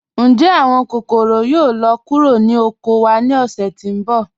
Ǹjẹ́ awọn kòkọ̀rò yóò lọ kúrò ni oko wa ni ọ̀ṣẹ̀ tí nbọ̀?